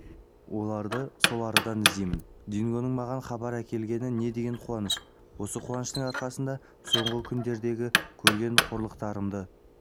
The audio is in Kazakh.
оларды сол арадан іздеймін дингоның маған хабар әкелгені не деген қуаныш осы қуаныштың арқасында соңғы күндердегі көрген қорлықтарымды